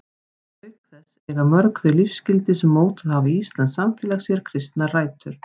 Auk þess eiga mörg þau lífsgildi sem mótað hafa íslenskt samfélag sér kristnar rætur.